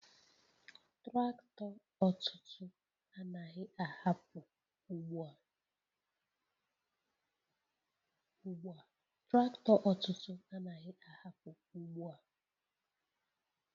Traktọ ọtụtụ anaghị ahapụ ugbo a!.